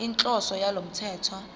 inhloso yalo mthetho